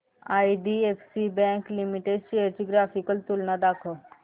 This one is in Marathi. आयडीएफसी बँक लिमिटेड शेअर्स ची ग्राफिकल तुलना दाखव